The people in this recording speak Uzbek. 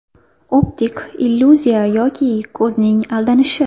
Optik illyuziya yoki ko‘zning aldanishi.